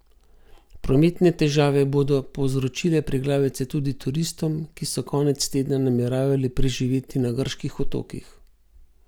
Prometne težave bodo povzročile preglavice tudi turistom, ki so konec tedna nameravali preživeti na grških otokih.